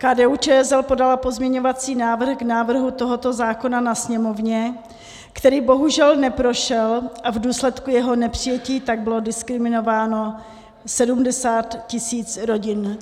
KDU-ČSL podala pozměňovací návrh k návrhu tohoto zákona na Sněmovně, který bohužel neprošel, a v důsledku jeho nepřijetí tak bylo diskriminováno 70 tisíc rodin.